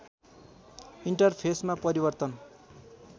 enter फेसमा परिवर्तन